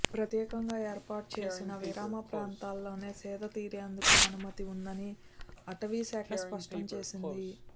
ప్రత్యేకంగా ఏర్పాటుచేసిన విరామ ప్రాంతాల్లోనే సేదతీరేందుకు అనుమతి ఉందని అటవీ శాఖ స్పష్టం చేసింది